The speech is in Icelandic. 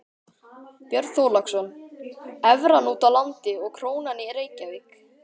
Björn Þorláksson: Evran úti á landi og krónan í Reykjavík?